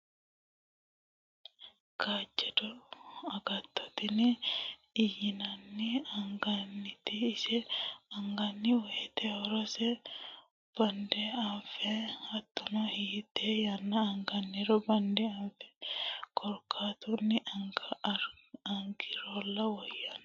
Kaajjado agatto tini layinanni angannite ise anganni woyte horose bande anfe hattono hiite yanna anganiro bande anfe korkaatunni angirolla woyanno.